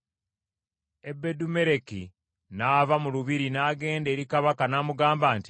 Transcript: Ebedumeleki n’ava mu lubiri n’agenda eri kabaka n’amugamba nti,